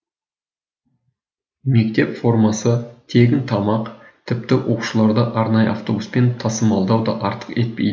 мектеп формасы тегін тамақ тіпті оқушыларды арнайы автобуспен тасымалдау да артық етпейді